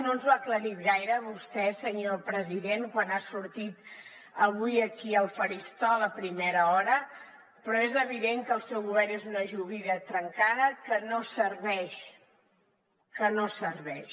no ens ho ha aclarit gaire vostè senyor president quan ha sortit avui aquí al faristol a primera hora però és evident que el seu govern és una joguina trencada que no serveix